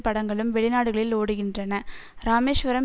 படங்களும் வெளிநாடுகளில் ஓடுகின்றன ராமேஸ்வரம்